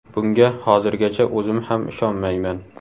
Bunga hozirgacha o‘zim ham ishonmayman.